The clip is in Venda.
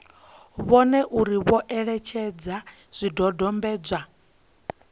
vhone uri vho etshedza zwidodombedzwa